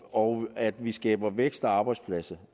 og at vi skaber vækst og arbejdspladser